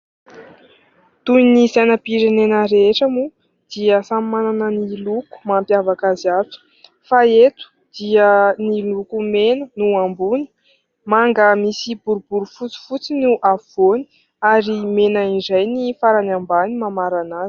Toy ny sainam-pirenena rehetra moa dia samy manana ny loko mampiavaka azy avy, fa eto dia ny loko mena no ambony, manga misy boribory fotsifotsy ny afovoany ary mena iray ny farany ambany mamarana azy.